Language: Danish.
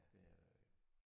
Det er det